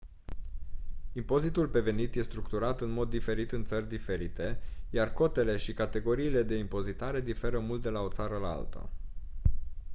impozitul pe venit e structurat în mod diferit în țări diferite iar cotele și categoriile de impozitare diferă mult de la o țară la alta